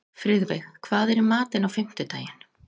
Friðveig, hvað er í matinn á fimmtudaginn?